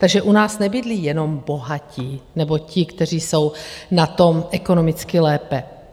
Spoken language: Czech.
Takže u nás nebydlí jenom bohatí nebo ti, kteří jsou na tom ekonomicky lépe.